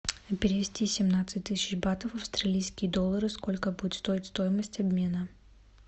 перевести семнадцать тысяч батов в австралийские доллары сколько будет стоить стоимость обмена